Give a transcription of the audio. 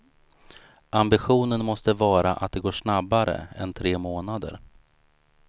Ambitionen måste vara att det går snabbare än tre månader.